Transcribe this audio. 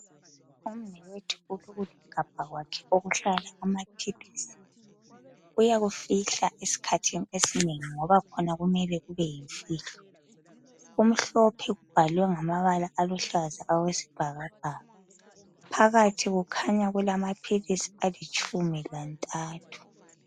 Umnewethu ulokuli gabha kwakhe okuhlala amaphilisi uyakufihla esikhathi esinengi ngoba khona kumele kube yimfihlo, kumhlophe kubhalwe ngamabala aluhlaza awesibhakabhaka. Phakathi kukhanya kulamaphilisi alitshumi lantathu.